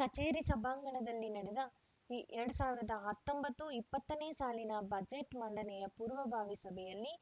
ಕಚೇರಿ ಸಭಾಂಗಣದಲ್ಲಿ ನಡೆದ ಎರಡ್ ಸಾವಿರದ ಹತ್ತೊಂಬತ್ತು ಇಪ್ಪತ್ತನೇ ಸಾಲಿನ ಬಜೆಟ್‌ ಮಂಡನೆಯ ಪೂರ್ವಭಾವಿ ಸಭೆಯಲ್ಲಿ